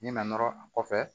Min na nɔrɔ a kɔfɛ